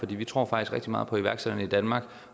vi tror faktisk rigtig meget på iværksætterne i danmark